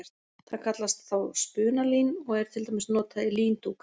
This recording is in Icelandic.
Það kallast þá spunalín og er til dæmis notað í líndúka.